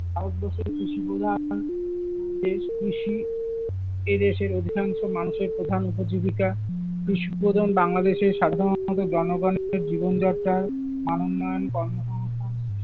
ভারতবর্ষের কৃষিপ্রধান দেশ, কৃষি এদেশের অধিকাংশ মানুষের প্রধান উপজীবিকা, কৃষিপ্রধান বাংলাদেশের সাধারনত জনগনের জীবনযাত্রার মানউন্নয়ন কর্মসংস্থান।